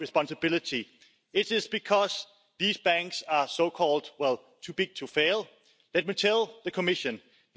Fangen wir bei den Abstimmungen heute damit an!